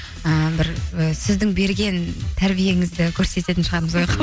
і бір сіздің берген тәрбиеңізді көрсететін шығармыз ояққа